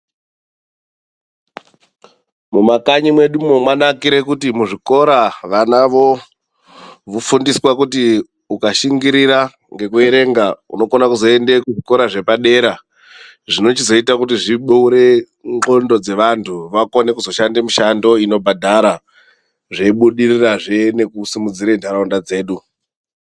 Mumakanyi mwedumwo mwanakire kuti muzvikora vana vofundiswa kuti ukashingirira nekuerenga unokone kuzoenda kuzvikora zvepadera zvinochizoita kuti zvibure ndxondo dzevantu vakone kuzoshanda mishando inobhadhara zveibudirirazve nekusimudzira nharaunda dzedu.